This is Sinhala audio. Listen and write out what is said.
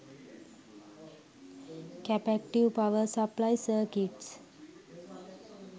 capacitve power supply circuits